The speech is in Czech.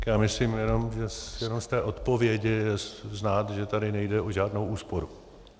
Já myslím, že jenom z té odpovědi je znát, že tady nejde o žádnou úsporu.